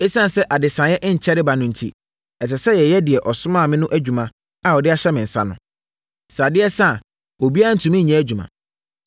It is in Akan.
Esiane sɛ adesaeɛ nkyɛre ba no enti, ɛsɛ sɛ yɛyɛ deɛ ɔsomaa me no adwuma a ɔde ahyɛ yɛn nsa no. Sɛ adeɛ sa a, obiara ntumi nyɛ adwuma.